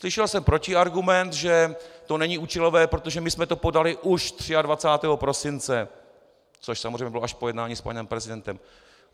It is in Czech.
Slyšel jsem protiargument, že to není účelové, protože my jsme to podali už 23. prosince, což samozřejmě bylo až po jednání s panem prezidentem.